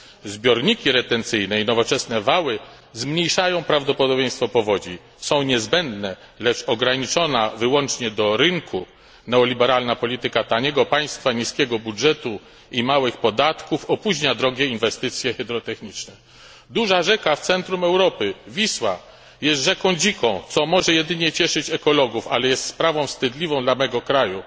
Zbiorniki retencyjne i nowoczesne wały zmniejszają prawdopodobieństwo powodzi, są niezbędne, lecz ograniczona wyłącznie do rynku neoliberalna polityka taniego państwa, niskiego budżetu i małych podatków opóźnia drogie inwestycje hydrotechniczne. Duża rzeka w centrum Europy Wisła jest rzeką dziką, co może cieszyć jedynie ekologów, ale jest sprawą wstydliwą dla mojego kraju.